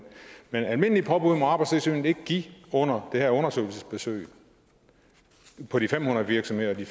men almindelige påbud må arbejdstilsynet ikke give under det her undersøgelsesbesøg på de fem hundrede virksomheder de